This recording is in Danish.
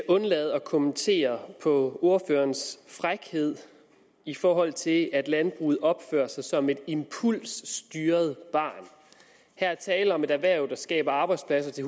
undlade at kommentere ordførerens frækhed i forhold til at landbruget opfører sig som et impulsstyret barn her er tale om et erhverv der skaber arbejdspladser til